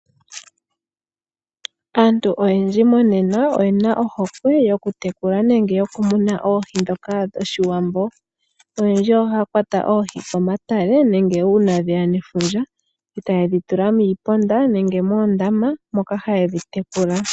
Aantu oyendji monena oyena ohokwe yoku tekula nenge yoku muna oohi dhoka dhoshiwambo. Oyendji ohaya kwata oohi komatale nenge uuna dheya nefundja, e taye dhi tula muuponda nenge moondama moka haye dhi tekula.